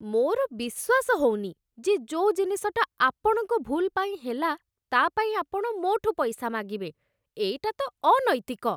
ମୋର ବିଶ୍ୱାସ ହଉନି ଯେ ଯୋଉ ଜିନିଷଟା ଆପଣଙ୍କ ଭୁଲ୍ ପାଇଁ ହେଲା, ତା'ପାଇଁ ଆପଣ ମୋ'ଠୁ ପଇସା ମାଗିବେ । ଏଇଟା ତ ଅନୈତିକ ।